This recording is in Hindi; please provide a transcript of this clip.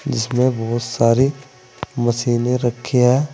जिसमें बहोत सारी मशीने रखी है।